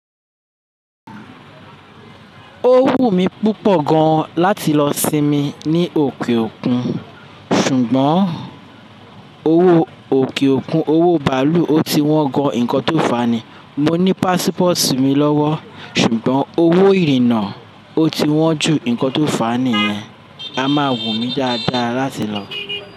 Ó wù mí púpọ̀ gan láti lọ sinmi ní òkè òkun, ṣùgbọ́n owó òkè òkun, owó bàálù, ó ti wọ́n gan nǹkan tó fani. Mo ní pásípọ̀tù mi lọ́wọ́, ṣùgbọ́n owó ìrìnnà ó ti wọ́n ju nǹkan tó fani yẹn. A ma wù mí dáadáa láti lọ.